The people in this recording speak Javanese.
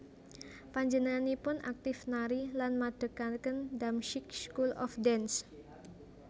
Panjenenganipun aktif nari lan madhegaken Damsyik School of Dance